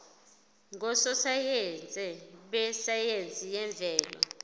ngososayense besayense yemvelo